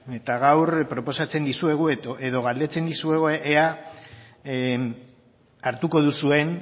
eta gaur proposatzen dizuegu edo galdetzen dizuegu ea hartuko duzuen